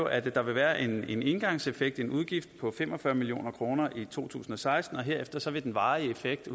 at der vil være en engangseffekt en udgift på fem og fyrre million kroner i to tusind og seksten og herefter vil den varige effekt